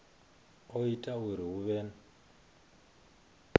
o ita uri hu vhe